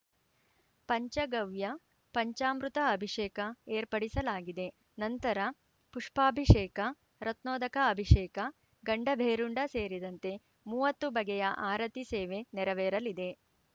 ಪಂಚಗವ್ಯ ಪಂಚಾಮೃತ ಅಭಿಷೇಕ ಏರ್ಪಡಿಸಲಾಗಿದೆ ನಂತರ ಪುಷ್ಪಾಭಿಷೇಕ ರತ್ನೊಧಕ ಅಭಿಷೇಕ ಗಂಡಭೇರುಂಡ ಸೇರಿದಂತೆ ಮೂವತ್ತು ಬಗೆಯ ಆರತಿ ಸೇವೆ ನೆರವೇರಲಿದೆ